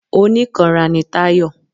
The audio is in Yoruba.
Onikanra ni Tayọ.